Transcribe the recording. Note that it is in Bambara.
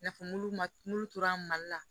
I n'a fɔ mulu ma n'olu tora mali la